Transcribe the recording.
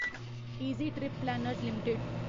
easy trip planners limited